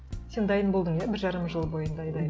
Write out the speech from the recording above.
сен дайын болдың иә бір жарым жыл бойы